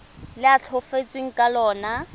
le a tlhokafetseng ka lona